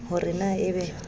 ho re na e be